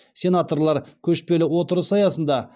сенаторлар көшпелі отырыс аясында